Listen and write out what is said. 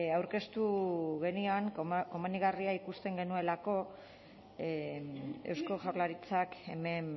aurkeztu genion komenigarria ikusten genuelako eusko jaurlaritzak hemen